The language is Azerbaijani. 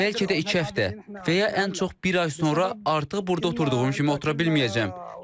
Bəlkə də iki həftə və ya ən çox bir ay sonra artıq burda oturduğum kimi otura bilməyəcəm.